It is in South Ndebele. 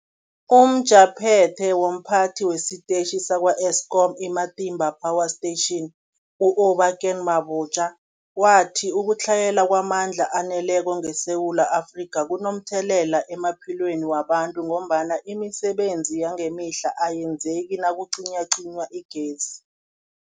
UmJaphethe womPhathi wesiTetjhi sakwa-Eskom i-Matimba Power Station u-Obakeng Mabotja wathi ukutlhayela kwamandla aneleko ngeSewula Afrika kunomthelela emaphilweni wabantu ngombana imisebenzi yangemihla ayenzeki nakucinywacinywa igezi.